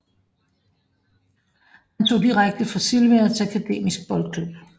Han tog direkte fra Sylvia til Akademisk Boldklub